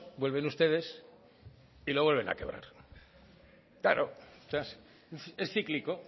vuelven ustedes y lo vuelven a quebrar claro es cíclico